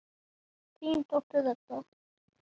Þín dóttir, Edda.